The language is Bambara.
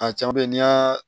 A caman bɛ yen n'i y'a